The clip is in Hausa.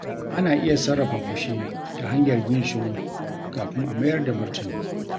Ana iya sarrafa fushi ta hanyar yin shiru kafin a mayar da martani.